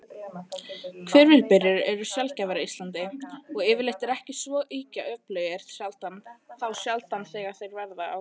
Hvirfilbyljir eru sjaldgæfir á Íslandi, og yfirleitt ekki svo ýkja öflugir þá sjaldan þeir verða.